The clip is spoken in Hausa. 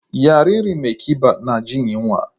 Yaririn mai kiba na jin yunwa.